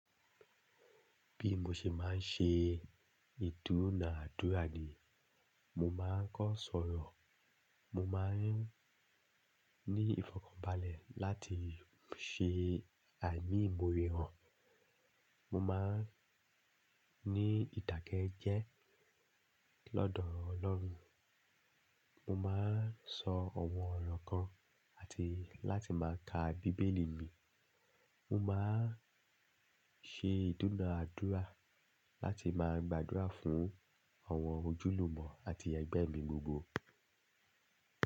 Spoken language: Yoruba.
Bí mo ṣe máa ń ṣe ìdúnàádúrà ni, mo máa ń kọ́ sọ̀rọ̀, mo máa ń ní ìfọ̀kànbalẹ̀ láti ṣe emiimore han, mo máa ń ní ìdàké jẹ́ lọ́dọ̀ Ọlọ́run, mo máa ń sọ ọ̀wọ́n ọ̀rọ̀ kan àti láti máa ka Bíbélì mi. Mo máa ń ṣe ìdúnàádúrà láti máa gbàdúrà fún àwọn ojúlùmọ̀ àti ẹgbẹ́ mi gbogbo.